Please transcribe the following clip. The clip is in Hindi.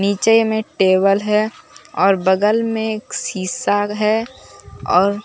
नीचे में टेबल है और बगल में एक शीशा है और--